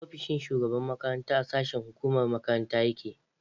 Ofishin shugaban makaranta a sashen hukumar makaranta yake